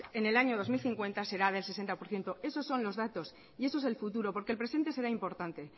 en el año dos mil cincuenta será del sesenta por ciento esos son los datos y eso es el futuro porque el presente será importante